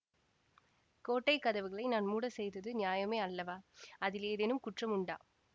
கோட்டை கதவுகளை நான் மூடச் செய்தது நியாயமே அல்லவா அதில் ஏதேனும் குற்றம் உண்டா